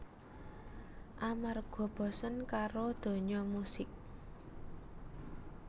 Amarga bosen karo donya musik